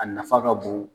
A nafa ka bon